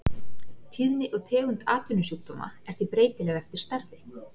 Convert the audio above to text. Tíðni og tegund atvinnusjúkdóma er því breytileg eftir starfi.